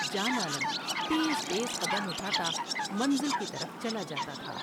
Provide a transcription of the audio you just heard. جان عالم تیز تیز قدم اٹھا تا منزل کی طرف چلا جا تا تھا ۔